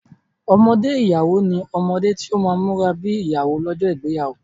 Ọmọdé ìyàwó ní omode tí ọ má múra bi ìyàwó lójó ìgbéyàwó.